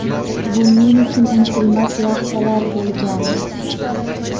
Bu men uchun unutilmas lahzalar bo‘lgandi.